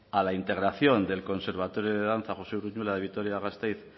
a la integración del conservatorio de danza josé uruñuela de vitoria gasteiz